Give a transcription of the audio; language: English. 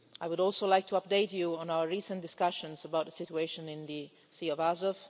I would also like to update you on our recent discussions about the situation in the Sea of Azov.